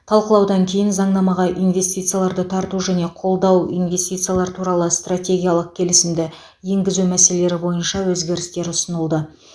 талқылаудан кейін заңнамаға инвестицияларды тарту және қолдау инвестициялар туралы стратегиялық келісімді енгізу мәселелері бойынша өзгерістер ұсынылды